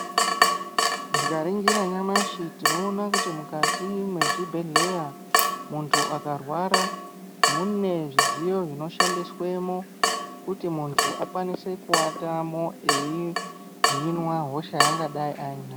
Tikaringira nyamashi tinoona kuti mukati mwezvibhedhleya, muntu akarwara mune zvidziyo zvinoshandiswemo kuti muntu akwanise kuvatamo eihinwa hosha yaangadai ainayo.